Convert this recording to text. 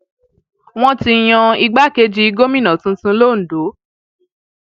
wọn ti yan igbákejì gómìnà tuntun londo